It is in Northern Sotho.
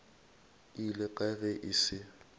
ile kae ge e se